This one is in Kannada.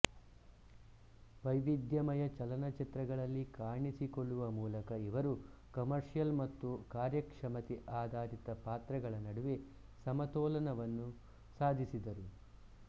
ವೈವಿಧ್ಯಮಯ ಚಲನಚಿತ್ರಗಳಲ್ಲಿ ಕಾಣಿಸಿಕೊಳ್ಳುವ ಮೂಲಕ ಇವರು ಕಮರ್ಷಿಯಲ್ ಮತ್ತು ಕಾರ್ಯಕ್ಷಮತೆ ಆಧಾರಿತ ಪಾತ್ರಗಳ ನಡುವೆ ಸಮತೋಲನವನ್ನು ಸಾಧಿಸಿದರು